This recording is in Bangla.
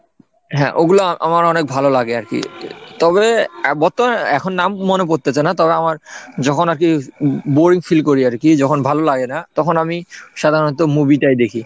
হ্যাঁ ওগুলা আমার অনেক ভালো লাগে আর কি তবে বর্তমানে এখন নাম মনে পড়তেছে না, তবে আমার যখন আর কি boring feel করি আর কি যখন ভালো লাগে না তখন আমি সাধারণত movie টাই দেখি,